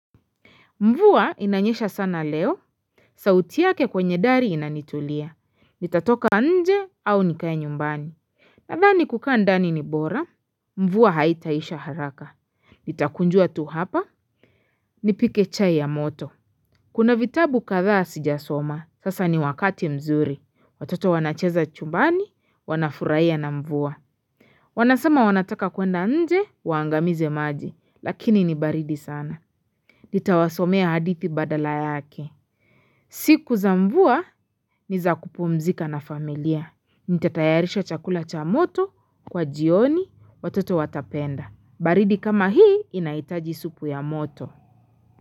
Mvuwa inanyesha sana leo sauti yake kwenye dari inanitulia Nitatoka nje au nikae nyumbani Nadhani kukaa ndani ni bora Mvuwa haitaisha haraka Nitakunjuwa tu hapa Nipike chai ya moto Kuna vitabu kadhqa sijasoma sasa ni wakati mzuri watoto wanacheza chumbani wanafurahia na mvuwa Wanasema wanataka kuenda nje waangamize maji lakini nibaridi sana Nitawasomea hadithi badala yake. Siku za mvuwa ni za kupumzika na familia. Nitatayarisha chakula cha moto kwa jioni watoto watapenda. Baridi kama hii inaitaji supu ya moto.